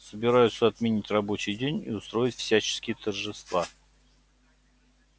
собираются отменить рабочий день и устроить всяческие торжества